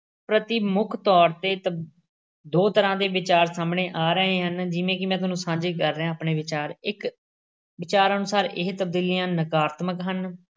ਪ੍ਰਤੀ ਮੁੱਖ ਤੌਰ ਤੇ ਤਬ ਦੋ ਤਰ੍ਹਾਂ ਦੇ ਵਿਚਾਰ ਸਾਹਮਣੇ ਆ ਰਹੇ ਹਨ। ਜਿਵੇਂ ਕਿ ਮੈਂ ਤੁਹਾਨੂੰ ਸਾਂਝੇ ਕਰ ਰਿਹਾਂ ਆਪਣੇ ਵਿਚਾਰ। ਇੱਕ ਵਿਚਾਰ ਅਨੁਸਾਰ ਇਹ ਤਬਦੀਲੀਆਂ ਨਕਾਰਾਤਮਿਕ ਹਨ